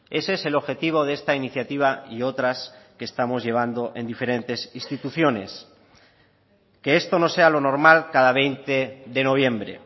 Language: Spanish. ese es el objetivo de esta iniciativa y otras que estamos llevando en diferentes instituciones que esto no sea lo normal cada veinte de noviembre